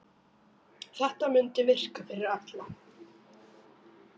Þetta mundi virka fyrir alla.